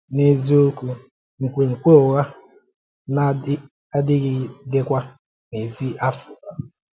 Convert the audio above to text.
N’eziokwu, nkwènkwè ụ́gha na-adịgídekwa n’èzí Áfríkà.